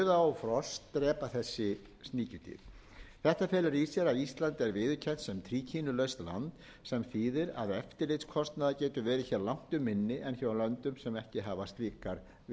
þetta felur í sér að ísland er viðurkennt sem tríkínulaust land sem þýðir að eftirlitskostnaður getur verið langtum minni en hjá löndum sem ekki hafa slíkar viðurkenningar ég vill einnig vekja